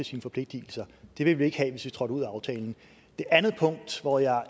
sine forpligtelser de ville vi ikke have hvis vi trådte ud af aftalen det andet punkt hvor jeg er